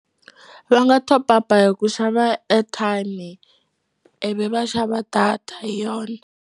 Va nga top up-a hi ku xava airtime-i ivi va xava data hi yona.